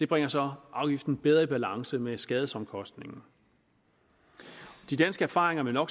bringer så afgiften bedre i balance med skadesomkostningen de danske erfaringer med no